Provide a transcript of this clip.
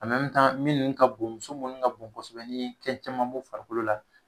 minnu ka bon, muso munnu ka bon kosɛbɛ, ni ye kɛn caman b'o farikolo la